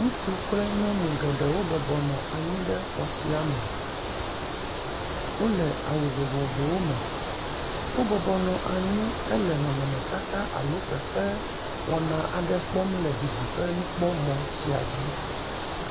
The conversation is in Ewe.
Ŋutsu kple nyɔnu geɖewo bɔbɔ nɔ anyi ɖe xɔ sia me. Wole awu vovovowome. Wo bɔbɔ nɔ anyi hele nɔnɔmetata alo fefe wɔna aɖe kpɔm le didiƒenukpɔmɔ̃ sia dzi